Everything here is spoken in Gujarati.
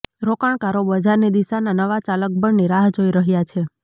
રોકાણકારો બજારની દિશાના નવા ચાલકબળની રાહ જોઈ રહ્યા છે